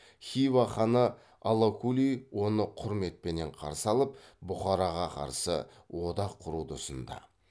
хива ханы аллакули оны құрметпенен қарсы алып бұқараға қарсы одақ құруды ұсынды